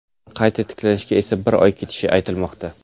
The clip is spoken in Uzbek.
Qayta tiklanishga esa bir oy ketishi aytilmoqda.